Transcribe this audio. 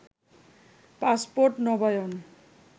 passport নবায়ন